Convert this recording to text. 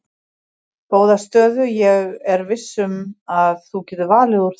Góða stöðu ég er viss um að þú getur valið úr þeim.